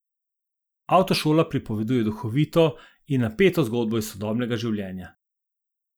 Avtošola pripoveduje duhovito in napeto zgodbo iz sodobnega življenja.